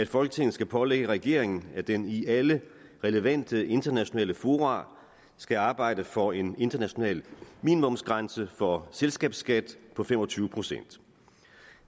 folketinget skal pålægge regeringen at den i alle relevante internationale fora skal arbejde for en international minimumsgrænse for selskabsskat på fem og tyve procent